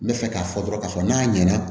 N bɛ fɛ k'a fɔ dɔrɔn k'a fɔ n'a ɲɛna